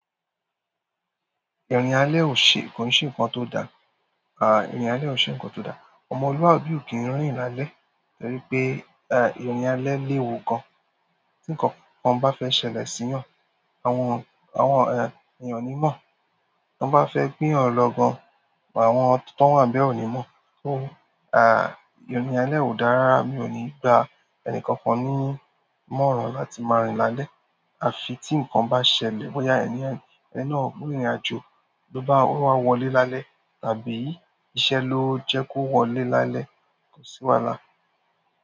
Ìrìn alẹ́ ò ṣe, kò ṣe nǹkan tó da. À, ìrìn alẹ́ ò ṣe nǹkan tó da. Ọmọlúwàbí ò kí ń rìn lálẹ́ torí pé, à, ìrìn alẹ́ léwu gan. Tí ǹkan kan bá fẹ́ ṣẹlẹ̀ sí èèyàn, àwọn, àwọn, èèyàn ò ní mọ̀. Tí wọ́n bá fẹ́ gbé èèyàn lọ gan, àwọn tán wà níbẹ̀ ò ní mọ̀. Ó, à, ìrìn alẹ́ ò dára, mi ò ní gba ẹnì kankan ní ìmọ̀ràn láti máa rìn lálẹ́. A fi tí nǹkan bá ṣẹlẹ̀, bọ́ya ẹni, ẹni náà gbìnrìnàjò, ló bá wọlé lálẹ́ tàbí iṣẹ́ ló jẹ́ kó wọlé lálẹ́, kò sí wàhálà.